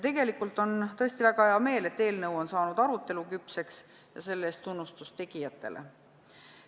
Tegelikult on tõesti väga hea meel, et eelnõu on saanud aruteluküpseks, selle eest tunnustus tegijatele.